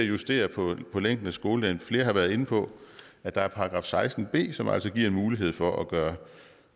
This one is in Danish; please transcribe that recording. justere på længden af skoledagen flere har været inde på at der er § seksten b som altså giver en mulighed for at gøre